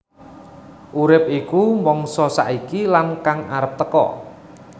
Urip iku mangsa saiki lan kang arep teka